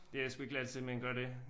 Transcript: Det er sgu ikke lige altid man kan gør det